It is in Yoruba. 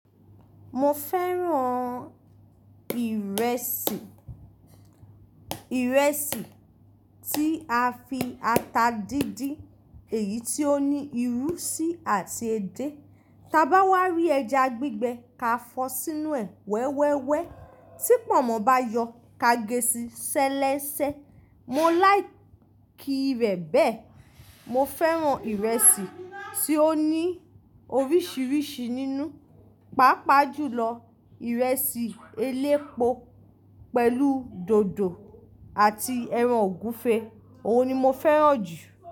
Mo fẹ́ràn ìrẹsì, ìrẹsì tí a fi ata díndín, èyí tí ó ní ìrù, síi àti edé. Ta bá wá rí ẹja gbígbẹ, ka fọ́ sínú ẹ̀ wẹ́wẹ́wẹ́. Tí pọ̀nmọ́ bá yọ, ka gé sí sẹlẹsẹ. Mo láì kí rẹ̀ bẹ́ẹ̀. Mo fẹ́ràn ìrẹsì tí ó ní oríṣiríṣi nínú, pàápàá jùlọ ìrẹsì elépo pẹ̀lú dòdò àti ẹran ògúnfe. Óun ni mo fẹ́ràn jù.